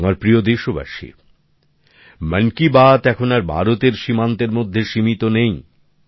আমার প্রিয় দেশবাসী মন কি বাত এখন আর ভারতের সীমান্তের মধ্যে সীমিত নেই